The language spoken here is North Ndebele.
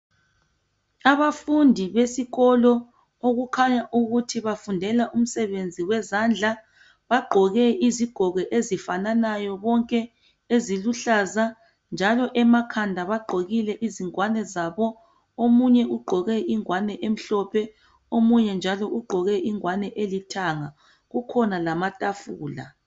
Abafundi abesikolo okukhanya ukuthi bafundela umsebenzi wezandla bangqoke izigqoko ezifananayo bonke eziluhlaza njalo emakhanda bagqokile izingwane zabo omunye ugqoke ingwane emhlophe omunye njalo ugqoke ingwane elithanga kukhona njalo lamatafula